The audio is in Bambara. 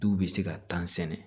Du bɛ se ka tan sɛnɛ